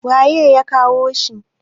waye ya kawo shi!